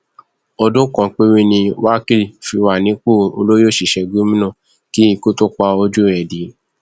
ọdún kan péré ni wákil fi wà nípò olórí òṣìṣẹ gómìnà kí ikú tóó pa ojú ẹ dé